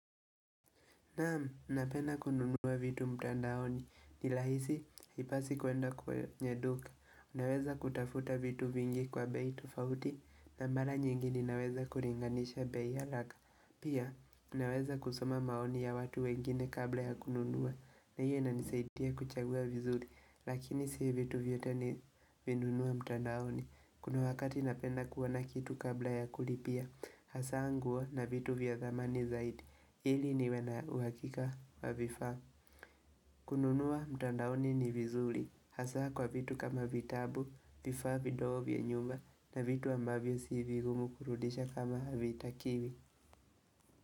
Naamu, napenda kununua vitu mtandaoni. Nirahisi, hipasi kuenda kwenye duka. Unaweza kutafuta vitu vingi kwa bei tufauti, na mara nyingi ni naweza kuringanisha bei haraka. Pia, unaweza kusoma maoni ya watu wengine kabla ya kununua. Na hiyo inanisaitia kuchagua vizuri, lakini si vitu vyote ni vinunua mtandaoni. Kuna wakati napenda kuwa na kitu kabla ya kulipia Hasa nguo na vitu vya thamani zaidi Ili niwe na uhakika wa vifa kununua mtandaoni ni vizuli Hasa kwa vitu kama vitabu Vifa vidogo vya nyumba na vitu ambavyo sivigumu kurudisha kama vita kiwi.